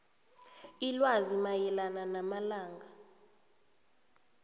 ilwazi mayelana namalanga